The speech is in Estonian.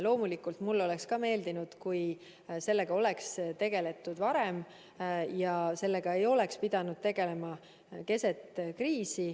Loomulikult mulle oleks ka meeldinud, kui sellega oleks tegeldud varem ja sellega ei oleks pidanud tegelema keset kriisi.